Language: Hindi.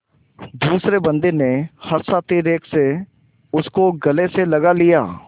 दूसरे बंदी ने हर्षातिरेक से उसको गले से लगा लिया